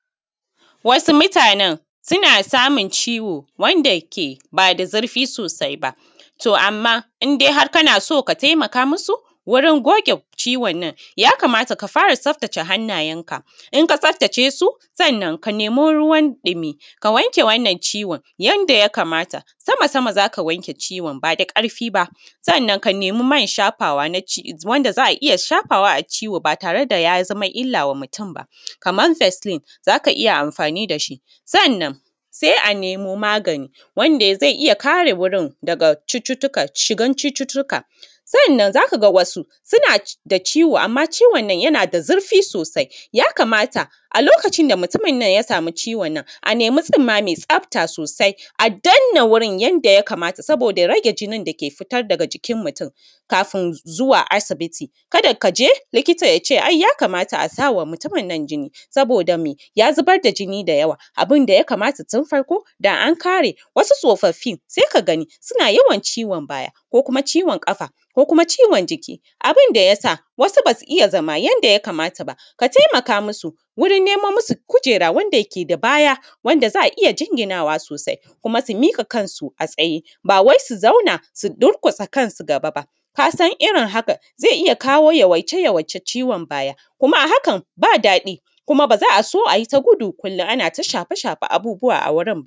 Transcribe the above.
Wasu mutanen suna samun ciwo wanda ke bada zurfi sosai ba, to amma indai kana so ka taimaka musu wurin goge ciwon a nan ya kamata ka fara tsaftace hannayenka. In ka tsaftace su sa’an nan ka nemi ruwan ɗimi ka wanke wannan ciwon yanda ya kamata sama-sama, za ka wanke ciwon bada ƙarfi ba sa’an nan ka nemi man shafawa na wanda za a iya shafawa a ciwo ba tare da ya zama illa wa mutum ba. Kaman festin za ka iya amfani da shi sannan se a nemo magani wanda ze iya kare wurin daga shigan cututtuka sanan za ka ga wasu suna da ciwo amma ciwon nan yana da zurfi sosai, yakamata a lokacin da mutumin nan ya samu ciwon nan ana nemi tsumma me tsafta sosai a dannan wurin yanda ya kamata. Saboda rage jinin dake fita daga jikin mutum kafun zuwa asibiti, ka da ka je likita ya ce ai yakamata a sa wa mutumin nan jini saboda me ya zubar da jini da yawa. Abun da ya kamata tun farko da a an kare wasu tsofaffin se ka gani suna yawan ciwon baya ko kuma ciwon ƙafa ko kuma ciwon jiki abun da ya sa wasu ba su iya zama yanda ya kamata ba, ka taimaka musu wurin nemo musu kujera wanda yake da baya wanda za a iya jinginawa sosai kuma su miƙa kansu a tsaye ba wai su zauna su durƙusa kansu gaba ba ƙasa, irin haka ze iya kawo yawaice-yawaicen ciwon baya kuma a hakan ba daɗi kuma ba za a so a yi ta gudi kullum ana ta shafe-shafe abubuwa a wurin ba.